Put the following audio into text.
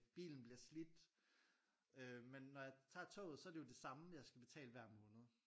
Bilen bliver slidt øh men når jeg tager toget så er det jo det samme jeg skal betale hver måned